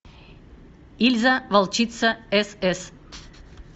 ильза волчица сс